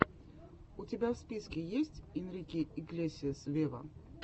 у тебя в списке есть энрике иглесиас вево